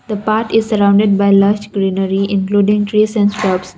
the path is sorrounded by large greenery including trees and stuffs.